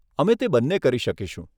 અમે તે બંને કરી શકીશું.